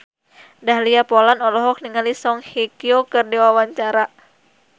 Dahlia Poland olohok ningali Song Hye Kyo keur diwawancara